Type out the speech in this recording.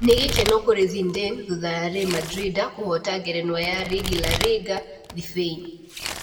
Nĩ gĩkeno kũrĩ Zindane thutha ya Ri Mandrinda kũhoota ngerenwa ya rigi La Riga Thibĩin.